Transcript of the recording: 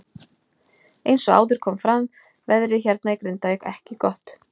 Eins og áður kom fram veðrið hérna í Grindavík ekki gott.